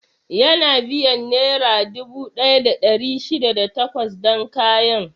Yana biyan Nera dubu ɗaya da ɗari shida da takwas dan kayan.